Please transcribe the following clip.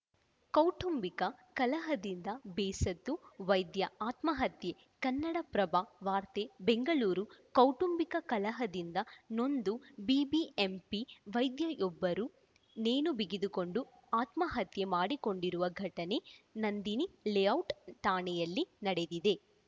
ಕೌಟುಂಬಿಕ ಕಲಹದಿಂದ ಬೇಸತ್ತು ವೈದ್ಯ ಆತ್ಮಹತ್ಯೆ ಕನ್ನಡಪ್ರಭ ವಾರ್ತೆ ಬೆಂಗಳೂರು ಕೌಟುಂಬಿಕ ಕಲಹದಿಂದ ನೊಂದು ಬಿಬಿಎಂಪಿ ವೈದ್ಯೆಯೊಬ್ಬರು ನೇಣು ಬಿಗಿದುಕೊಂಡು ಆತ್ಮಹತ್ಯೆ ಮಾಡಿಕೊಂಡಿರುವ ಘಟನೆ ನಂದಿನಿ ಲೇಔಟ್‌ ಠಾಣೆಯಲ್ಲಿ ನಡೆದಿದೆ